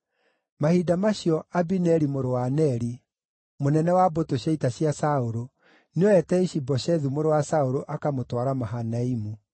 Mahinda macio, Abineri mũrũ wa Neri, mũnene wa mbũtũ cia ita cia Saũlũ, nĩoete Ishi-Boshethu mũrũ wa Saũlũ akamũtwara Mahanaimu.